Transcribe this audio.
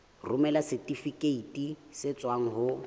romela setifikeiti se tswang ho